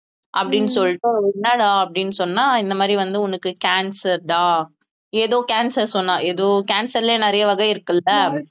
அப்படின்னு சொல்லிட்டு என்னடா அப்படின்னு சொன்னா இந்த மாதிரி வந்து உனக்கு cancer டா ஏதோ cancer சொன்னா ஏதோ cancer லயே நிறைய வகை இருக்குல்ல